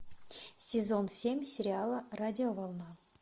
сезон семь сериала радиоволна